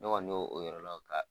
Ne kɔni y'o o yɔrɔ